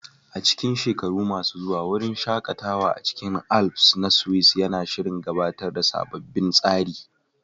A cikin shekaru masu zuwa, wurin shaƙatawa a cikin Alps na Swiss yana shirin gabatar da sabbin tsari